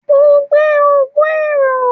Mo n gbe ogun ero